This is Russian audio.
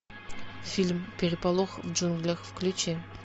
фильм переполох в джунглях включи